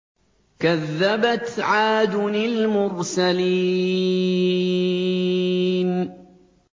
كَذَّبَتْ عَادٌ الْمُرْسَلِينَ